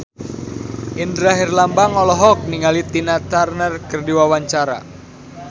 Indra Herlambang olohok ningali Tina Turner keur diwawancara